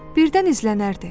Birdən izlənərdi.